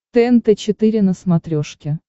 тнт четыре на смотрешке